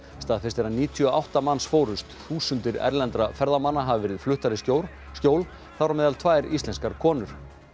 staðfest er að níutíu og átta manns fórust þúsundir erlendra ferðamanna hafa verið fluttar í skjól skjól þar á meðal tvær íslenskar konur